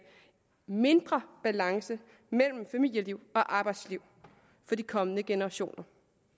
mindre balance mellem familieliv og arbejdsliv for de kommende generationer